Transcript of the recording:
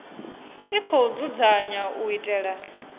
i khou dzudzanywa u itela